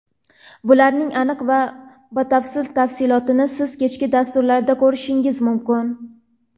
Bularning aniq va batafsil tafsilotini siz kechki dasturlarda ko‘rishingiz mumkin.